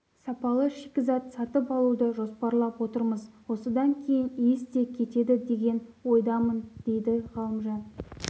сапалы шикізат сатып алуды жоспарлап отырмыз осыдан кейін иіс те кетеді деген ойдамын дейді ғалымжан